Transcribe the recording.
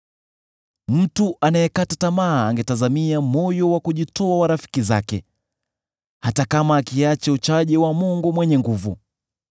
“Mtu anayekata tamaa angetazamia moyo wa kujitoa wa rafiki zake, hata kama akiacha uchaji wa Mwenyezi.